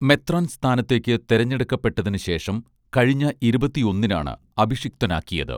മെത്രാൻ സ്ഥാനത്തേക്ക് തെരഞ്ഞെടുക്കപ്പെട്ടതിന് ശേഷം കഴിഞ്ഞ ഇരുപത്തിയൊന്നിനാണ് അഭിഷിക്തനാക്കിയത്